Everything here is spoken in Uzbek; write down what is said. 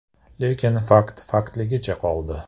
Lekin fakt faktligicha qoldi.